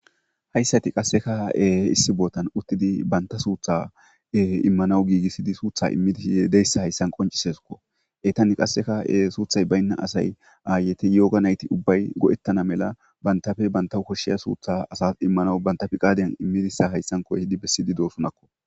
Hayisatikka qase issi botani utidi sutha imanawu gigisidosani utidi imana dizoyisa qoncisesi gusa eyitani qasekka suththayi bayinna asayi ayeti yoga nayiti ubayi goeta a mala banitappe banitta koshiya sutha asawu imanawu banitappe fiqadeni imisiyaysa besidi dosona